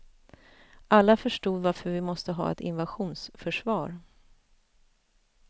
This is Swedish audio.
Alla förstod varför vi måste ha ett invasionsförsvar.